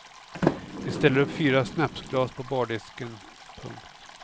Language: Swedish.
Vi ställer upp fyra snapsglas på bardisken. punkt